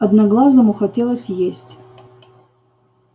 одноглазому хотелось есть